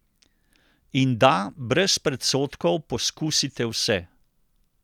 In da brez predsodkov poskusite vse.